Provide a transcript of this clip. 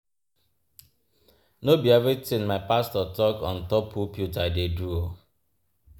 No be everytin my pastor talk on top pulpit I dey do.